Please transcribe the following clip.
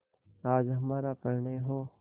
आज हमारा परिणय हो